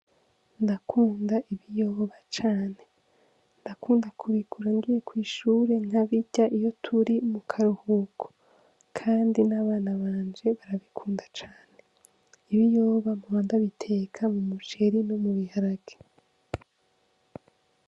Ndakunda ibiyoba cane, ndakunda kubigura ngiye kw'ishure nkabirya iyo turi mu karuhuko kandi n'abana banje babikunda cane. Ibiyoba mpora ndabitera